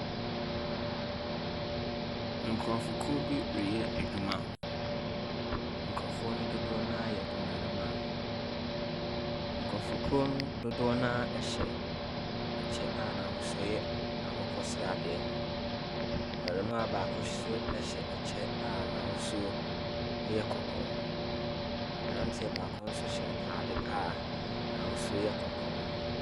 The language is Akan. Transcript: Nkurɔfokuo bi reyɛ adwuma, nkurɔfoɔ no dodoɔ no ara yɛ mmarima. Nkurɔfokuo no dodoɔ no ara hyɛ kyɛ a n’ahosuo yɛ akokɔsradeɛ. Barima baako nso hyɛ kyɛ a n’ahosuo yɛ kɔkɔɔ, aberanteɛ baako nso hyɛ ataade a n’ahosuo yɛ kɔkɔɔ.